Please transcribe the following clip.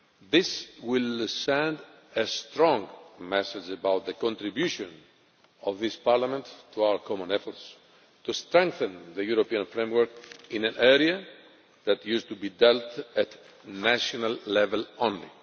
This will send a strong message about the contribution of this Parliament to our common efforts to strengthen the European framework in an area that used to be dealt with at the national level only.